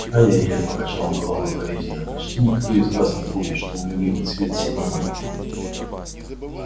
ай-яй-яй покачал он головой укоризненно почти никто из вас не помнит что мой любимый цвет сиреневый